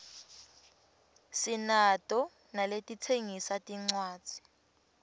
sinato naletitsengisa tincwadzi